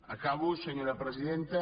acabo senyora presidenta